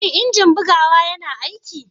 Shin injin bugawa yana aiki?